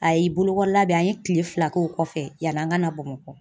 Ayi bolokɔrɔ labɛn, an ye kile fila k'o kɔfɛ yani an ka na Bamakɔ.